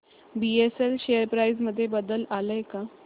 BSL share price मध्ये बदल आलाय का